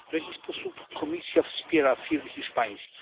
W jaki sposób Komisja wspiera firmy hiszpańskie?